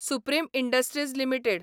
supreme Industries limited